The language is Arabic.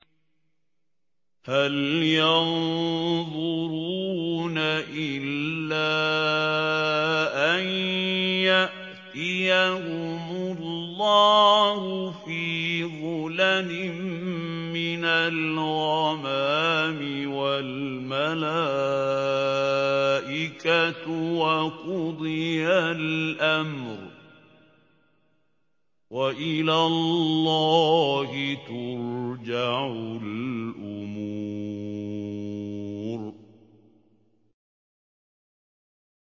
هَلْ يَنظُرُونَ إِلَّا أَن يَأْتِيَهُمُ اللَّهُ فِي ظُلَلٍ مِّنَ الْغَمَامِ وَالْمَلَائِكَةُ وَقُضِيَ الْأَمْرُ ۚ وَإِلَى اللَّهِ تُرْجَعُ الْأُمُورُ